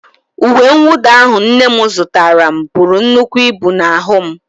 Uwe mwụda ahụ nne m zụtaara m buru nnukwu ibu n'ahụ m.